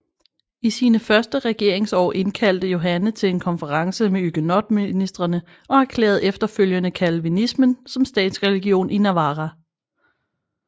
I sine første regeringsår indkaldte Johanne til en konference med hugenotministrene og erklærede efterfølgende calvinismen som statsreligion i Navarra